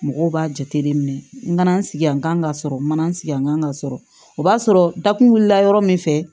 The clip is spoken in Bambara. Mɔgɔw b'a jate minɛ n ka na n sigi yan n kan ka sɔrɔ n ma n sigi n kan ka sɔrɔ o b'a sɔrɔ dakun wulila yɔrɔ min fɛ